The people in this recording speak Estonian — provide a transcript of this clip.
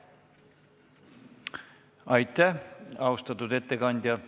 Aitäh, austatud ettekandja!